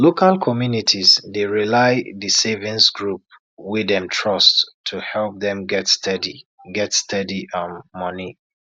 local communities dey rely the saving group wey dem trust to help dem get steady get steady um money